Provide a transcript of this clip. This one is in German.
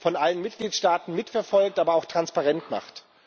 von allen Mitgliedstaaten mitverfolgt aber auch transparent macht.